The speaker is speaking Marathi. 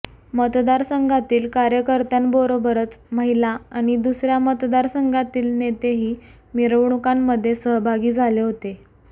मतदारसंघातील कार्यकर्त्यांबरोबरच महिला आणि दुसर्या मतदारसंघातील नेतेही मिरवणुकांमध्ये सहभागी झाले होते